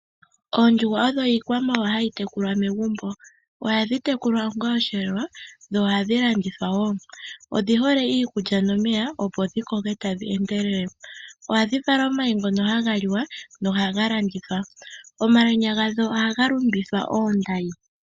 Oondjuhwa odho iikwamawawa hayi tekulwa megumbo. Ohadhi tekulwa onga oshiyelelwa dho ohadhi landithwa woo, odhi hole iikulya nomeya opo dhikoke tadhi endelele. Ohadhi vala omayi ngono haga li wa nohaga landithwa. Omalwenya gadho ohaga lumbithwa oondayi.